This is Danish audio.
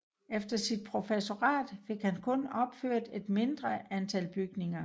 Efter sit professorat fik han kun opført et mindre antal bygninger